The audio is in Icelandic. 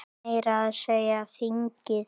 Meira að segja þingið!